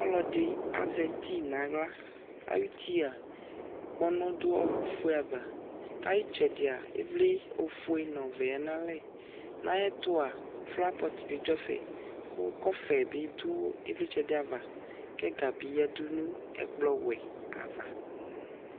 Ɔlɔdɩ azɛ ti nʋ aɣla Ayutia kpɔnɔ dʋ ɔɣɔkʋfue ava kʋ ayʋ ɩtsɛdɩa ɩvlɩ ofue nʋ ɔvɛ yǝdu nʋ alɛ Nʋ ayɛtʋa flawa pɔt bɩ dʋ ɛfɛ kʋ kɔfɛ bɩ dʋ ɩvlɩtsɛ dɩ ava kʋ ɛga bɩ yǝdu nʋ ɛkplɔwɛ ava